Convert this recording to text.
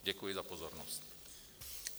Děkuji za pozornost.